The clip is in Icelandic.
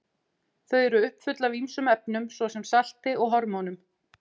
Þau eru uppfull af ýmsum efnum, svo sem salti og hormónum.